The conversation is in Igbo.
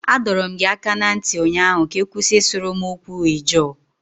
Adọọrọ m gị aka na ntị ụnyaahụ ka ị kwụsị ịsuru m okwu Ijaw